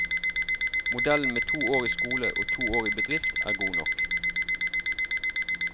Modellen med to år i skole og to år i bedrift er god nok.